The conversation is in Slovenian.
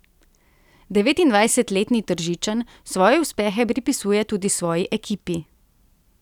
Devetindvajsetletni Tržičan svoje uspehe pripisuje tudi svoji ekipi.